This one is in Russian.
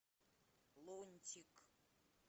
лунтик